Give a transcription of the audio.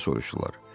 Deyə soruşdular.